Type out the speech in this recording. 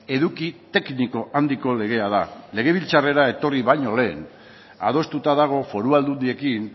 eduki tekniko handiko legea da legebiltzarrera etorri baino lehen adostuta dago foru aldundiekin